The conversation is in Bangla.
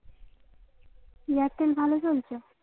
এয়ারটেল ভালো চলছে